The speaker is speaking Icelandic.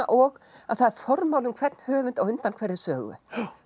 og það er formáli um hvern höfund á undan hverri sögu